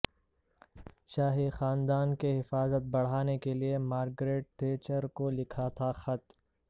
شاہی خاندان کی حفاظت بڑھانے کےلئے مارگرٹ تھیچر کو لکھا تھا خط